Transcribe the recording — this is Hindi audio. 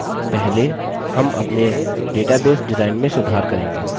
पहले हम अपने database डिजाइन में सुधार करेंगे